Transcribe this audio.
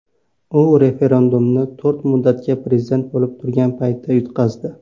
U referendumni to‘rt muddatga prezident bo‘lib turgan paytda yutqazdi.